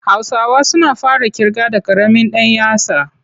Hausawa suna fara ƙirga da ƙaramin ɗan yatsa.